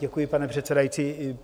Děkuji, pane předsedající.